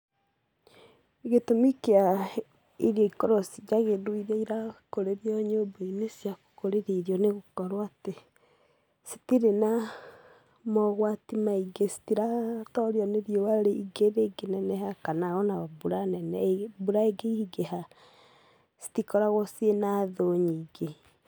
Gῖtῦmi kĩa irio ikorwo ci njagῖrῖru iria irakῦrῖrio nyῦmba-inῖ cia gῦkῦrῖria irio nῖ gῦkorwo atῖ citirĩ na mogwati maingῖ, citiratorio nῖ riῦa rῖingi rῖngῖneneha kana ona mbura nene mbura ῖngῖingῖha citikoragwo ciĩna thῦ nyingῖ.